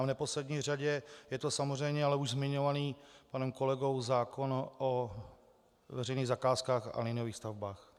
A v neposlední řadě je to samozřejmě ale už zmiňovaný panem kolegou zákon o veřejných zakázkách a liniových stavbách.